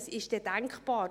Was ist denn denkbar?